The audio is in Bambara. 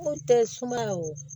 Ko tɛ sumaya wo